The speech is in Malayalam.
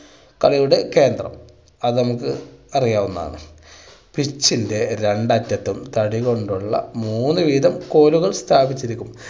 കളിയുടെ കേന്ദ്രം അത് നമുക്ക് അറിയാവുന്നതാണ്. pitch ൻ്റെ രണ്ട് അറ്റത്തും തടി കൊണ്ടുള്ള മൂന്ന് വീതം കോലുകൾ സ്ഥാപിച്ചിരിക്കുന്നു.